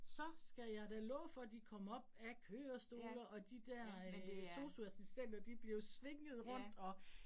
Så skal jeg da love for, de kom op af kørestole, og de dér øh sosu-assistenter de blev svinget rundt og